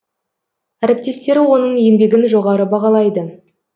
әріптестері оның еңбегін жоғары бағалайды